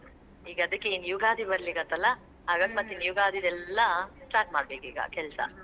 ಈಗ ಅದ್ಕೆ ಇನ್ ಯುಗಾದಿ ಬರ್ಲಿಕತ್ ಅಲಾ ಯುಗಾದಿದೆಲ್ಲಾ start ಮಾಡ್ಬೇಕಿಗ ಕೆಲ್ಸಾ.